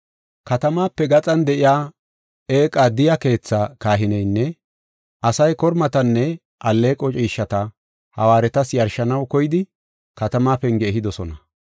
Katamaape gaxan de7iya eeqa Diya keethaa kahineynne asay kormatanne alleeqo ciishshata hawaaretas yarshanaw koyidi katamaa penge ehidosona.